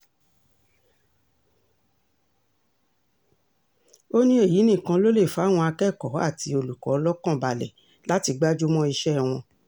ó ní èyí nìkan ló lè fàwọn akẹ́kọ̀ọ́ àti olùkọ́ lọ́kàn balẹ̀ láti gbájú mọ́ iṣẹ́ wọn